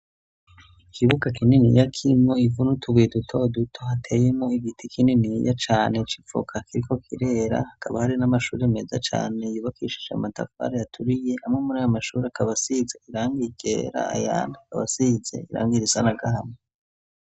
Ikibuka kinini ya kimo ivunutubuye duta duto hateyemo igiti kinini ya cane cipfokakiriko kirera hakaba hari n'amashuri meza cane yibakishija matafara yaturiye amwe muri ayo mashuri akabasize irangie ikera ayana aabasize irangiraisana gaama.